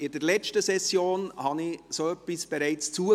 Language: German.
In der letzten Session liess ich dergleichen bereits zu.